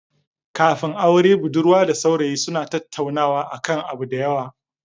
Kafin aure budurwa da saurayi suna tattaunawa akan abu da yawa